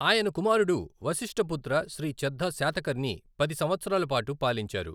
ఆయన కుమారుడు వసిష్ఠపుత్ర శ్రీ చద్దా శాతకర్ణి పది సంవత్సరాలపాటు పాలించారు.